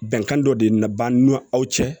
Bɛnkan dɔ de nana b'an ni aw cɛ